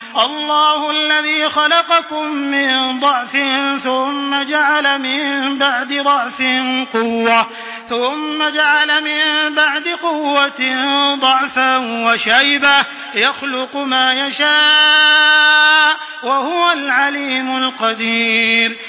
۞ اللَّهُ الَّذِي خَلَقَكُم مِّن ضَعْفٍ ثُمَّ جَعَلَ مِن بَعْدِ ضَعْفٍ قُوَّةً ثُمَّ جَعَلَ مِن بَعْدِ قُوَّةٍ ضَعْفًا وَشَيْبَةً ۚ يَخْلُقُ مَا يَشَاءُ ۖ وَهُوَ الْعَلِيمُ الْقَدِيرُ